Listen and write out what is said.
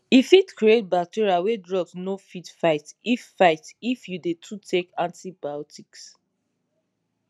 e fit create bacteria wey drug no fit fight if fight if you dey too take antibiotics